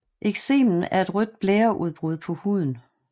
Eksemen er et rødt blære udbrud på huden